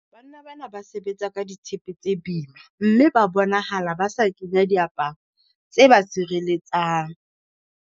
Banna bana ba sebetsa ka ditshepe tsa bima, mme ba bonahala ba sa kenya diaparo tse ba sireletsang.